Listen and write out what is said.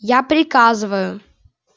я приказываю